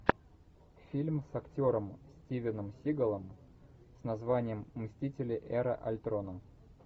фильм с актером стивеном сигалом с названием мстители эра альтрона